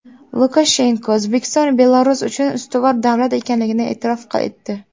Lukashenko O‘zbekiston Belarus uchun ustuvor davlat ekanligini e’tirof etdi.